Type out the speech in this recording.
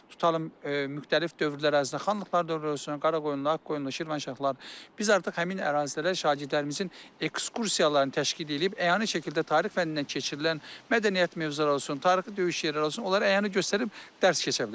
Tutalım, müxtəlif dövrlər ərzində xanlıqlar dövrü olsun, Qaraqoyunlu, Ağqoyunlu, Şirvanşahlar, biz artıq həmin ərazilərə şagirdlərimizin ekskursiyalarını təşkil edib, əyani şəkildə tarix fənnindən keçirilən mədəniyyət mövzuları olsun, tarixi döyüş yerləri olsun, onlara əyani göstərib dərs keçə bilərik.